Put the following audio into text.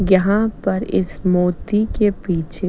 यहाँ पर इस मोती के पीछे--